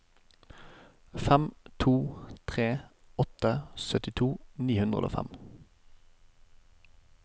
fem to tre åtte syttito ni hundre og fem